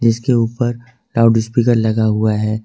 इसके ऊपर लाउडस्पीकर लगा हुआ है।